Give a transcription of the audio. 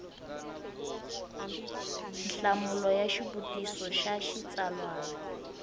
nhlamulo ya xivutiso xa xitsalwana